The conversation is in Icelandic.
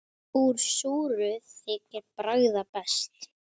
Úr súru þykir bragða best.